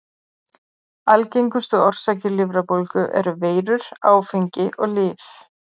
Algengustu orsakir lifrarbólgu eru veirur, áfengi og lyf.